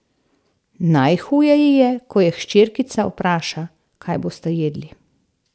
Najhuje ji je, ko jo hčerkica vpraša, kaj bosta jedli.